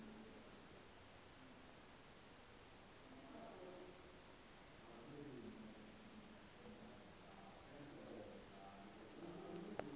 fanela u vha i kha